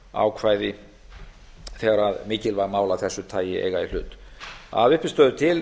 reglugerðarákvæði þegar mikilvæg mál af þessu tagi eiga í hlut að uppistöðu til